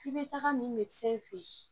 I bɛ taga nin fɛ yen